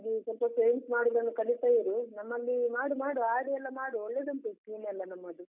ಹಾಗಾಗಿ ಸ್ವಲ್ಪ savings ಮಾಡುದನ್ನು ಕಲಿತಾ ಇರು, ನಮ್ಮಲ್ಲಿ ಮಾಡು ಮಾಡು RD ಯೆಲ್ಲ ಮಾಡು ಒಳ್ಳೆದುಂಟು scheme ಎಲ್ಲ ನಮ್ಮದು.